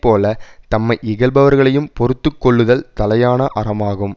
போல தம்மை இகழ்பவர்களையும் பொறுத்து கொள்ளுதல் தலையான அறமாகும்